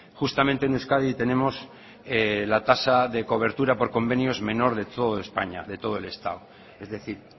justamente en euskadi tenemos la tasa de cobertura por convenios menor de toda españa de todo el estado es decir